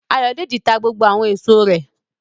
Ayọ̀dèjì ta gbogbo àwọn èso rẹ̀